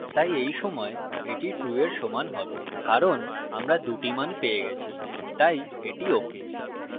তাই এই সময় এটি true এর সমান have কারণ আমরা দুটি মান পেয়ে গেছি তাই এটি ok